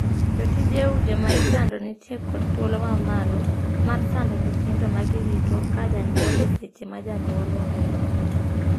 Jotije udi ma isando nitie kod thuolo ma malo mar sando nyithindo ma girito ka jonyuol e seche ma jonyuol onge ot.